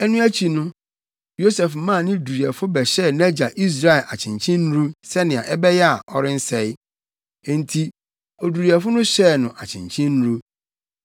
Ɛno akyi no, Yosef maa ne duruyɛfo bɛhyɛɛ nʼagya Israel akyenkyennuru, sɛnea ɛbɛyɛ a, ɔrensɛe. Enti oduruyɛfo no hyɛɛ no akyenkyennuru.